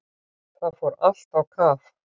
Það fór allt á kaf.